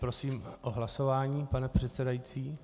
Prosím o hlasování, pane předsedající.